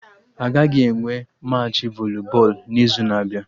Agaghị enwe Machị voli bọọlụ n'izu na-abịa